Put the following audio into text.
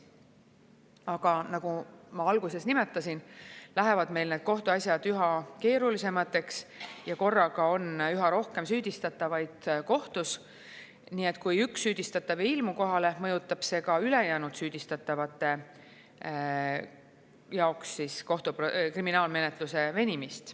Aga nagu ma alguses nimetasin, meil lähevad kohtuasjad üha keerulisemaks ja korraga on üha rohkem süüdistatavaid kohtus, nii et kui üks süüdistatav ei ilmu kohale, mõjutab see ka ülejäänud süüdistatavate jaoks kohtu kriminaalmenetluse venimist.